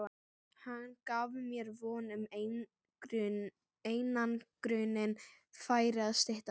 Hann gaf mér von um að einangrunin færi að styttast.